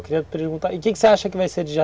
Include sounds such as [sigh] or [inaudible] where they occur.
Eu queria perguntar, o que você acha que vai ser de [unintelligible]